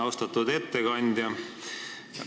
Austatud ettekandja!